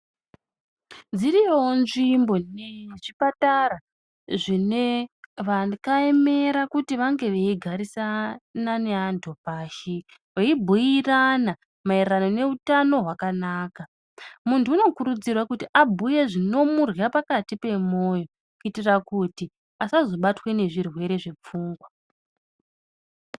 Dziriyoo nzvimbo nezvipatara zvinevakaemera kuti vange vachigarisana neantu pashi veibhuirana maererano neutano hwakanaka. Muntu unokurudzirwa kuti abhuye zvinomurya pakati pemoyo. Kuitira kuti asazobatwe nezvirwere zvepfungwa.